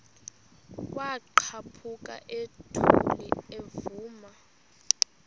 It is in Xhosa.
kwaqhaphuk uthuli evuma